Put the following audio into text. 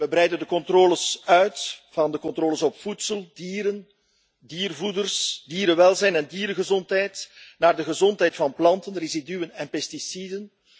We breiden de controles uit van de controles op voedsel, dieren, diervoeders, dierenwelzijn en diergezondheid naar de gezondheid van planten, residuen en pesticiden.